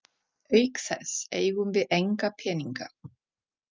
Auk þess eigum við enga peninga.